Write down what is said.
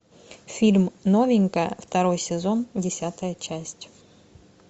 фильм новенькая второй сезон десятая часть